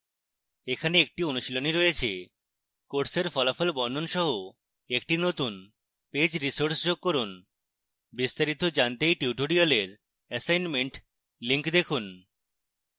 এখানে একটি অনুশীলনী রয়েছে